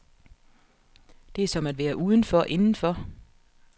Det er som at være udenfor, indenfor.